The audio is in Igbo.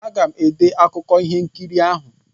Aga m ede akụkụ ihe nkiri ahụ.